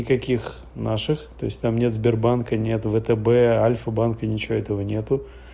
никаких наших то есть там нет сбербанка нет втб альфа банк и ничего этого нет